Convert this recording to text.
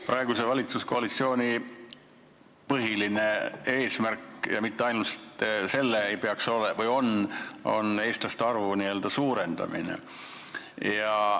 Praeguse valitsuskoalitsiooni – ja mitte ainult selle – põhiline eesmärk on eestlaste arvu suurendamine.